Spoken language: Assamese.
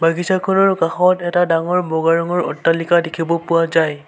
বাগিছাখনৰ কাষত এটা ডাঙৰ বগা ৰঙৰ অট্টালিকা দেখিব পোৱা যায়।